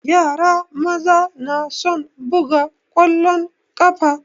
Yara maza na son buga ƙwalon ƙafa